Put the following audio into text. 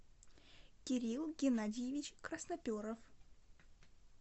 кирилл геннадьевич красноперов